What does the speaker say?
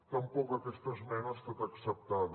tampoc aquesta esmena ha estat acceptada